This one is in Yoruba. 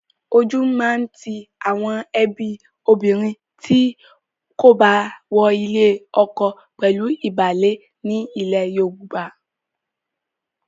Ojú máa ti àwọn ẹbí obìnrin tí kò bá wọ ilé ọkọ pẹ̀lú ìbálé ní ilẹ̀ Yorùbá.